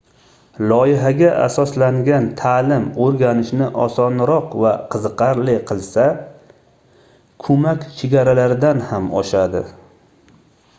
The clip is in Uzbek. loyihaga asoslangan taʼlim oʻrganishni osonroq va qiziqarli qilsa koʻmak chegaralardan ham oshadi